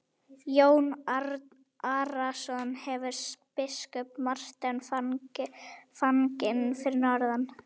Jón Arason hefur biskup Martein fanginn fyrir norðan.